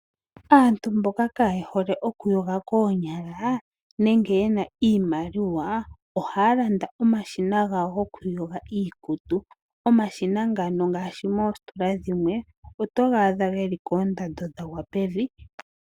Aantu mboka kaayehole okuyoga koonyala, nange ye na iimaliwa ohaalanda omashina gawo gokuyoga iikutu. Omashina ngano ngaashi moositola dhimwe oto ga adha geli koondando dhagwa pevi.